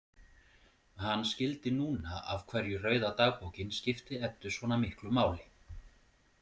Hann skildi núna af hverju rauða dagbókin skipti Eddu svona miklu máli.